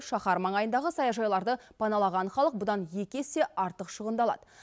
шаһар маңайындағы саяжайларды паналаған халық бұдан екі есе артық шығындалады